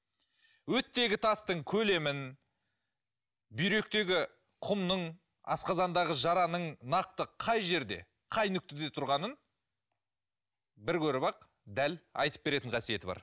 өттегі тастың көлемін бүйректегі құмның асқазандағы жараның нақты қай жерде қай нүктеде тұрғанын бір көріп ақ дәл айтып беретін қасиеті бар